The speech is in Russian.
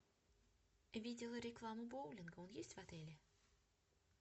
видела рекламу боулинга он есть в отеле